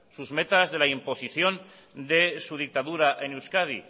sus metas de la imposición de su dictadura en euskadi